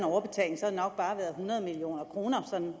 hundrede million kroner sådan